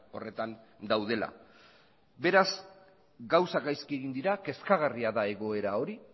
horretan daudela beraz gauzak gaizki egin dira kezkagarria da egoera hori